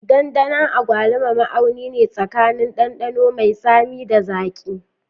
Dandanon agwaluma, ma'auni ne tsakanin ɗanɗano mai tsami da zaƙi.